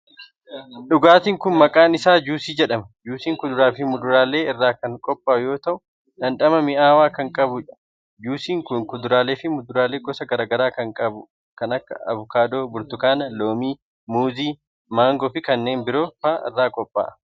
Dhugaatiin kun, maqaan isaa juusii jedhama. Juusiin kuduraa fi muduraalee irraa kan qophaa'u yoo ta'u, dhandhama mi'aawaa kan qabuu dha. Juusiin kun kuduraalee fi muduraalee gosa garaa garaa kan akka:avokaadoo, burtukaana, loomii, muuzii, maangoo fi kanneen biroo faa irraa qophaa'e.